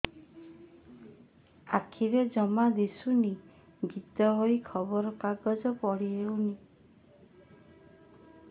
ଆଖିରେ ଜମା ଦୁଶୁନି ଗୀତା ବହି ଖବର କାଗଜ ପଢି ହଉନି